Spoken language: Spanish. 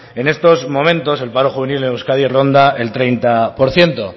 en estos momentos el paro juvenil en euskadi ronda el treinta por ciento